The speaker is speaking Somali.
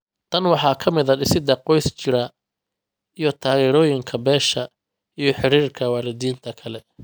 Tan waxaa ka mid ah dhisidda qoys jira iyo taageerooyinka beesha iyo xiriirka waalidiinta kale.